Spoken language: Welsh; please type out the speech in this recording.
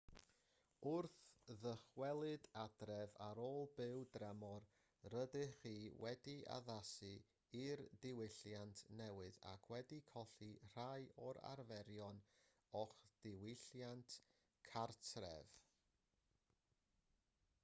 wrth ddychwelyd adref ar ôl byw dramor rydych chi wedi addasu i'r diwylliant newydd ac wedi colli rhai o'r arferion o'ch diwylliant cartref